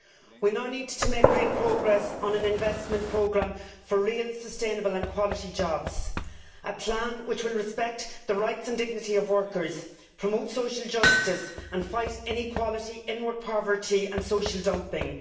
We now need to make real progress on an investment programme for real, sustainable and quality jobs a plan which will respect the rights and dignity of workers, promote social justice and fight inequality, in work poverty and social dumping